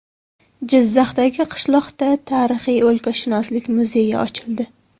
Jizzaxdagi qishloqda tarixiy o‘lkashunoslik muzeyi ochildi.